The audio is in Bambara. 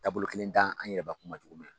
Taabolo kelen da an yɛrɛbakun ma cogo min na